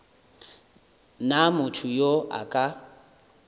na motho yo a ka